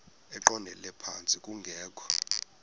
eqondele phantsi kungekho